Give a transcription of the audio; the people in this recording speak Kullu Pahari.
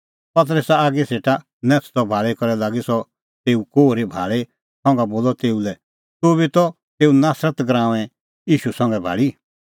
पतरसा आगी सेटा नैथदअ भाल़ी करै लागी सह तेऊ कोहरी भाल़ी संघा बोलअ तेऊ लै तुबी त तेऊ नासरत गराऊंए ईशू संघै भाल़ी